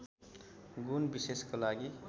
गुण विशेषको लागि